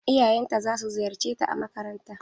Iyayen ta za su ziyarce ta a makaranta.